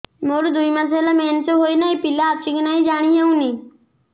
ମୋର ଦୁଇ ମାସ ହେଲା ମେନ୍ସେସ ହୋଇ ନାହିଁ ପିଲା ଅଛି କି ନାହିଁ ଜାଣି ହେଉନି